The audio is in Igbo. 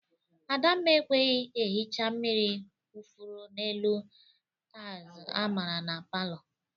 Adamma ekweghi ehecha mmiri kwufuru n'elu taịlz amara na palọ.